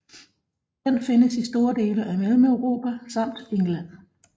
Den findes i store dele af Mellemeuropa samt England